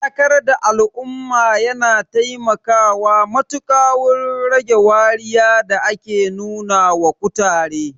Faɗakar da al'umma yana taimakawa matuƙa wurin rage wariya da ake nuna wa kutare.